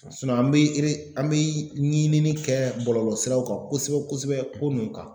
an bɛ re an bɛ ɲinini kɛ bɔlɔlɔsiraw kan kosɛbɛ kosɛbɛ ko nun kan